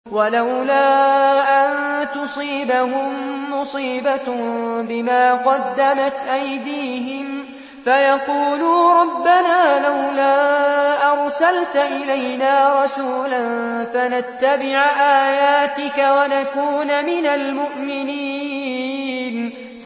وَلَوْلَا أَن تُصِيبَهُم مُّصِيبَةٌ بِمَا قَدَّمَتْ أَيْدِيهِمْ فَيَقُولُوا رَبَّنَا لَوْلَا أَرْسَلْتَ إِلَيْنَا رَسُولًا فَنَتَّبِعَ آيَاتِكَ وَنَكُونَ مِنَ الْمُؤْمِنِينَ